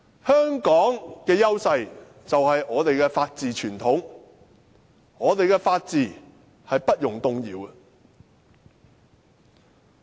香港的優勢，便是我們的法治傳統，我們的法治是不容動搖的。